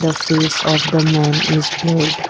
the face of the man is blurred.